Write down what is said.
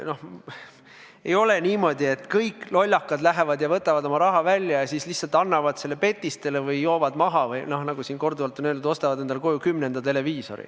Ei ole niimoodi, et kõik lollakad lähevad ja võtavad oma raha välja ja siis lihtsalt annavad selle petistele või joovad maha või, nagu siin korduvalt on öeldud, ostavad endale koju kümnenda televiisori.